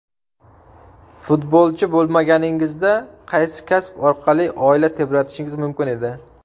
Futbolchi bo‘lmaganingizda, qaysi kasb orqali oila tebratishingiz mumkin edi?